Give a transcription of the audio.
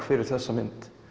fyrir þessa mynd